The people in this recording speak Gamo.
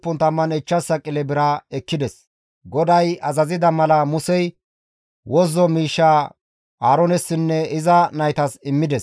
GODAY azazida mala Musey wozzo miishshaa Aaroonessinne iza naytas immides.